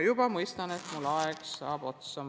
Ma mõistan, et mul saab aeg otsa.